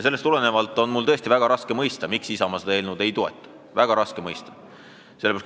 Sellest tulenevalt on mul tõesti väga raske mõista, miks Isamaa seda eelnõu ei toeta.